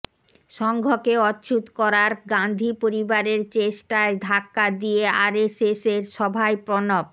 সঙ্ঘকে অচ্ছুত করার গাঁধী পরিবারের চেষ্টায় ধাক্কা দিয়ে আরএসএসের সভায় প্রণব